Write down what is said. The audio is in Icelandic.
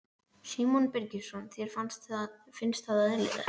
Símon Birgisson: Þér finnst það eðlilegt?